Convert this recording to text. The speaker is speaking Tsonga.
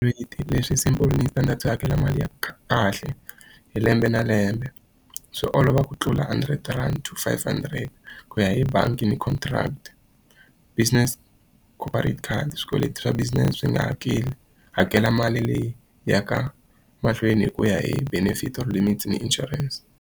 Leswi simple hakela mali ya kahle hi lembe na lembe. Swi olova ku tlula hundred rand to five hundred ku ya hi bangi ni contract. Business swikweleti swa business swi nga hakeli hakela mali leyi yaka mahlweni hi ku ya hi benefit ni insurance.